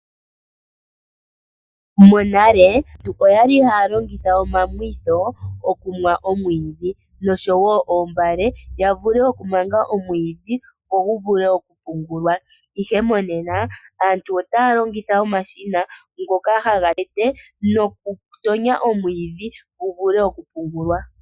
Aantu monale oya li haya longitha omamwitho opo yamwe oomwiidhi nosho woo oombale ya vule okumanga oomwiidhi opo dhi vule okupungulwa. Monena aantu otaa longitha omashina ngoka haga tete noku tonya omwiidhi gu vule okupungulwa.